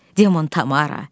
Demon, Tamara.